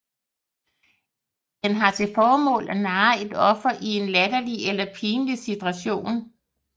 Den har til formål at narre et offer i en latterlig eller pinlig situation